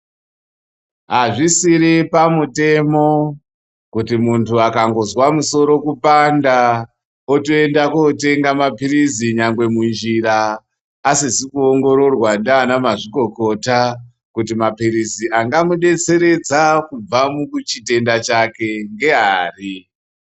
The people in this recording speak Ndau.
Hazvisiri pamutemo kui muntu akangozwa musoro kupanda otoenda kotenga maphirizi nyangwe munjira asizi kuongororwa ndiana mazvikokota kuti maphirizi angamudetseredza kubva muchitenda chake ngeari.